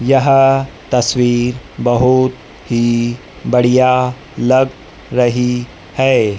यह तस्वीर बहुत ही बढ़िया लग रही है।